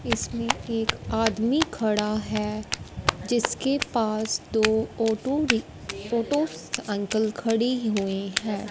इसमें एक आदमी खड़ा है जिसके पास दो ऑटो रि ऑटो अंकल खड़े हुई है।